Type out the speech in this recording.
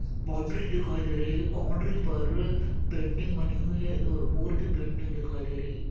Boundary बनी हुई दिखाई दे रही है। बाउंड्री पर पेंटिंग बनी हुई है मोर की पेंटिंग दिखाई दे रही।